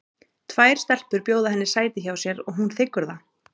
Tvær stelpur bjóða henni sæti hjá sér og hún þiggur það.